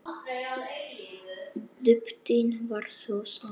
Dýptin var sú sama.